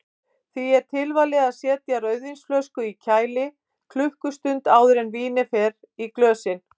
Því er tilvalið að setja rauðvínsflösku í kæli klukkustund áður en vínið fer í glösin.